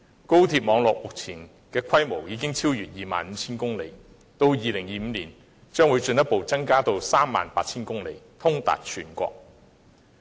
高鐵網絡目前的規模已經超越 25,000 公里，到了2025年更會進一步增至 38,000 公里，通達全國。